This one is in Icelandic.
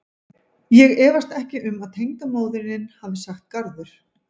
Ég efast ekki um að tengdamóðirin hafi sagt garður.